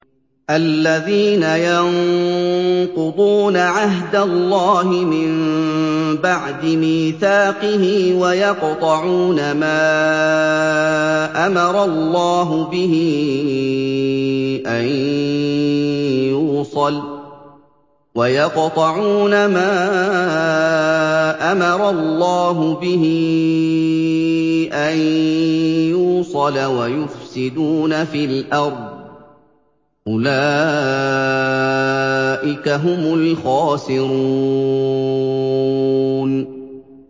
الَّذِينَ يَنقُضُونَ عَهْدَ اللَّهِ مِن بَعْدِ مِيثَاقِهِ وَيَقْطَعُونَ مَا أَمَرَ اللَّهُ بِهِ أَن يُوصَلَ وَيُفْسِدُونَ فِي الْأَرْضِ ۚ أُولَٰئِكَ هُمُ الْخَاسِرُونَ